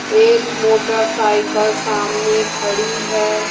एक मोटरसाइकिल सामने खड़ी है।